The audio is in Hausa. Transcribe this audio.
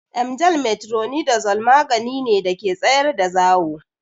Emgyl metronidazole magani ne da ke tsayar da zawo.